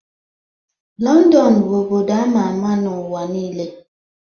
London bụ obodo ama ama n'ụwa niile